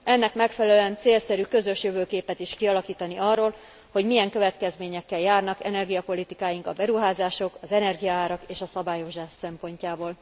Ennek megfelelően célszerű közös jövőképet is kialakítani arról, hogy milyen következményekkel járnak energiapolitikáink a beruházások, az energiaárak és a szabályozás szempontjából.